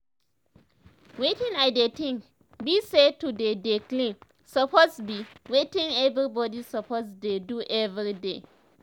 wetin i dey think bi say to dey dey clean suppose bi wetin everybody suppose dey do everyday